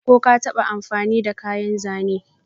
Ko ka taba amfani da kayan Zane?